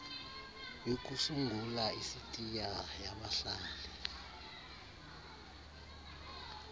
yokusungula isitiya yabahlali